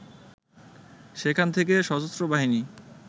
সেখান থেকে সশস্ত্র বাহিনী